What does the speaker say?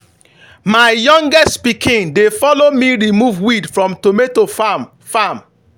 my youngest pikin dey follow me remove weed from tomato farm. farm.